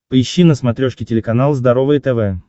поищи на смотрешке телеканал здоровое тв